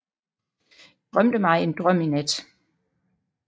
Drømte mig en drøm i nat